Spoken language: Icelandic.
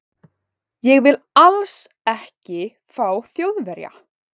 Ég vil ALLS ekki fá Þjóðverja.